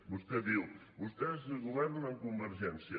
vostè diu vostès governen amb convergència